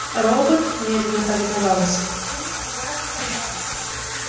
робот медленно повиновался